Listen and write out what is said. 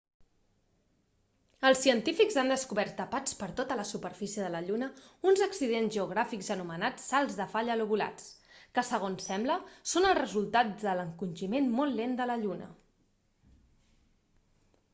els científics han descobert tapats per tota la superfície de la lluna uns accidents geogràfics anomenats salts de falla lobulats que segons sembla són el resultat de l'encongiment molt lent de la lluna